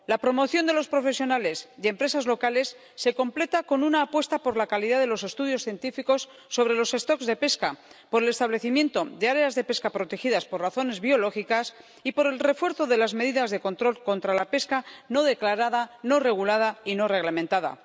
La promoción de los profesionales y empresas locales se completa con una apuesta por la calidad de los estudios científicos sobre los stocks de pesca, por el establecimiento de áreas de pesca protegidas por razones biológicas y por el refuerzo de las medidas de control contra la pesca no declarada, no regulada y no reglamentada.